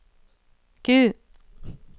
Q